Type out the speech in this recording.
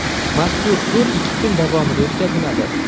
Mazkur tur ikki kun davomida o‘tkaziladi.